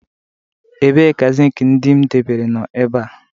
Ebee ka zinc ndị m debere nọ ebe a